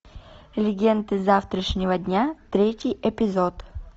легенды завтрашнего дня третий эпизод